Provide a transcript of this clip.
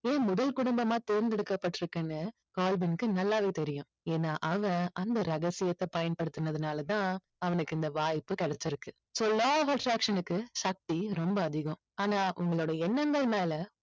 ஏன் முதல் குடும்பமா தேர்ந்தெடுக்கப்பட்டுருக்குன்னு கால்வின்கு நல்லாவே தெரியும். ஏன்னா அவன் அந்த ரகசியத்தை பயன்படுத்தினதுனால தான் அவனுக்கு இந்த வாய்ப்பு கிடைச்சிருக்கு. so law of attraction க்கு சக்தி ரொம்ப அதிகம். ஆனா உங்களோட எண்ணங்கள் மேலே